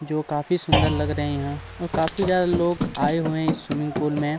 जो काफी सुंदर लग रहे है यहाँ और काफी ज्यादा लोग आए हुए है इस स्विमिंग पूल में--